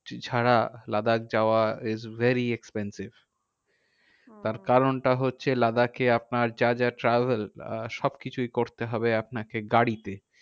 ছাড়া লাদাখ যাওয়া is very expensive. তার কারণটা হচ্ছে লাদাখে আপনার যা যা travel আহ সবকিছুই করতে হবে আপনাকে গাড়িতে।